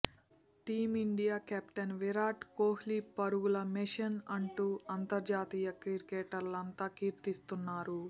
team India captain Virat Kohli పరుగుల machine అంటూ అంతర్జాతీయ క్రికెటర్లంతా కీర్తిస్తున్నారు